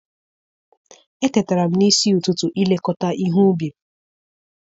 Etetara m n'isi ụtụtụ ilekọta ihe ubi m.